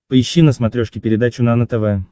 поищи на смотрешке передачу нано тв